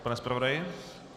Pane zpravodaji?